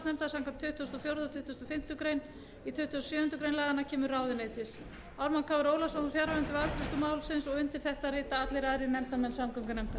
tuttugasta og fimmtu grein í tuttugasta og sjöundu grein laganna kemur ráðuneytis ármann krónu ólafsson var fjarverandi við afgreiðslu málsins undir þetta rita allir aðrir nefndarmenn samgöngunefndar